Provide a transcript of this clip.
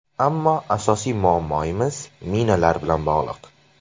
Ammo asosiy muammoimiz minalar bilan bog‘liq.